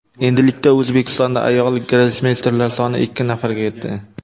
Endilikda O‘zbekistonda ayol grossmeysterlar soni ikki nafarga yetdi.